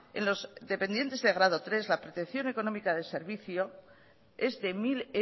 en los dependientes de grados tres la protección económica de servicio es de mil